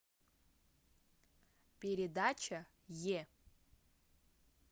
передача е